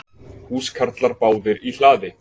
Húskarlar báðir í hlaði.